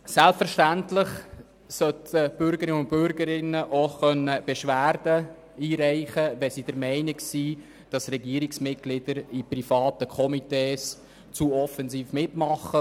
Selbstverständlich sollen die Bürgerinnen und Bürger auch Beschwerden einreichen können, wenn sie der Meinung sind, dass Regierungsmitglieder in privaten Komitees zu offensiv mitmachen.